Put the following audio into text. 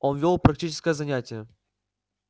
он вёл практическое занятие